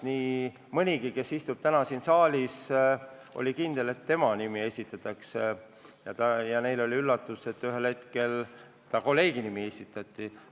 Nii mõnigi, kes istub täna siin saalis, oli kindel, et tema nimi esitatakse, ja neile oli üllatus, et hoopis kolleegi nimi esitati.